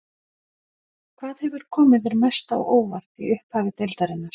Hvað hefur komið þér mest á óvart í upphafi deildarinnar?